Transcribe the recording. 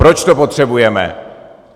Proč to potřebujeme?